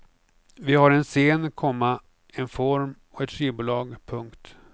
Vi har en scen, komma en form och ett skivbolag. punkt